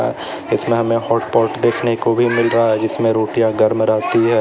इसमें हमें हॉटपॉट देखने को भी मिल रहा है जिसमें रोटियां गरम रहती हैं।